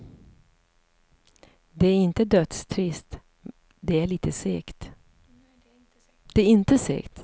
Det är inte dödstrist, det är inte segt.